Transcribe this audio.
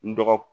N dɔgɔ